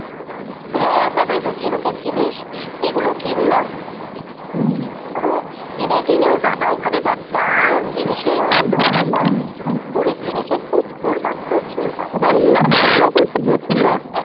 হ্যাঁ তারপরে একটু ঝিনুকের জিনিস এগুলো কিনলাম । তো কিনে টিনে বাবা ওখানে যা দাম জিনিসের ধরা যায়না পুরীর জিনিসের প্রচুর দাম প্রচুর দাম ছিল